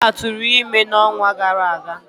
Ola tụrụ ime n'ọnwa gara aga.